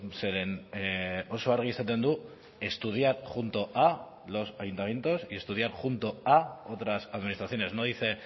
zeren oso argi esaten du estudiar junto a los ayuntamientos y estudiar junto a otras administraciones no dice